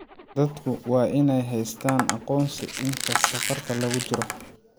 Dadku waa inay haystaan ??aqoonsi inta safarka lagu jiro.